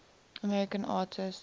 american artists